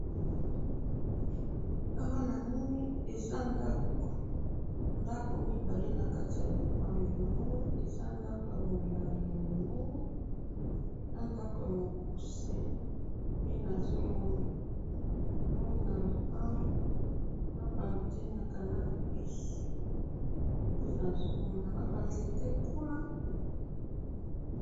awa namoni eza ndako, ndako mibale na kati ya lopango, namoni eza ndako ya molai ya monene, na ndako ya mokuse, nde nazo mona. namoni na lopanga na ba antenne ya canal plus, nde nazo mona, na ba nzete kuna